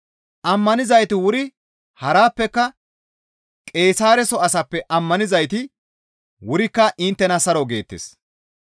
Ammanizayti wuri harappeka Qeesaareso asaappe ammanizayti wurikka inttena saro geettes.